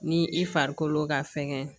Ni i farikolo ka fɛngɛ